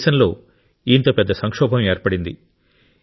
మన దేశంలో ఇంత పెద్ద సంక్షోభం ఏర్పడింది